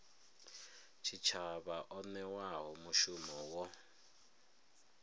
tshitshavha o newaho mushumo wo